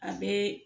A bɛɛ